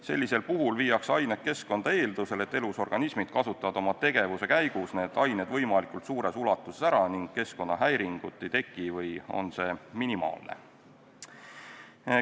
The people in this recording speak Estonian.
Sellisel puhul viiakse ained keskkonda eeldusel, et elusorganismid kasutavad oma tegevuse käigus need ained võimalikult suures ulatuses ära ning keskkonnahäiringut ei teki või on see minimaalne.